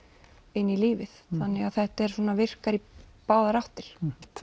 inn í lífið þannig að þetta virkar í báðar áttir